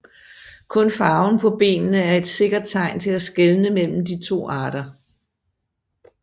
Kun farven på benene er et sikkert tegn til at skelne mellem de to arter